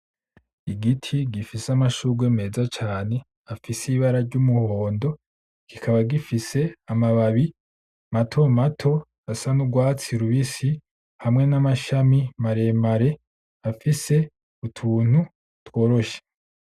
Igiti gifise amashurwe meza cane afise ibara ry'umuhondo kikaba gifise amababi matomato asa nurwatsi rubisi hamwe n'amashami maremare afise utuntu tworoshe .